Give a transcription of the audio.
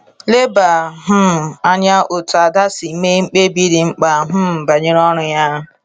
Leba um anya otú Ada si mee mkpebi dị mkpa um banyere ọrụ ya.